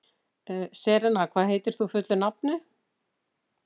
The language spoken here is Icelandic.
Serena, hvað heitir þú fullu nafni?